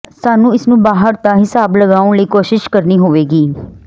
ਸਾਨੂੰ ਇਸ ਨੂੰ ਬਾਹਰ ਦਾ ਿਹਸਾਬ ਲਗਾਉਣ ਲਈ ਕੋਸ਼ਿਸ਼ ਕਰੋ ਹੋਵੋਗੇ